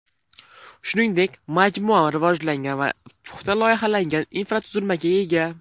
Shuningdek majmua rivojlangan va puxta loyihalangan infratuzilmaga ega.